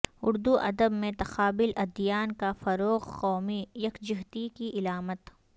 اردو ادب میں تقابل ادیان کا فروغ قومی یکجہتی کی علامت